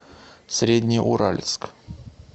среднеуральск